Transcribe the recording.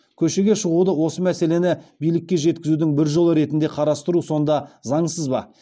көшеге шығуды осы мәселені билікке жеткізудің бір жолы ретінде қарастыру сонда заңсыз ба